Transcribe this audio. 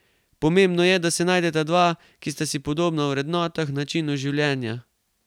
Pomembno je, da se najdeta dva, ki sta si podobna v vrednotah, načinu življenja ...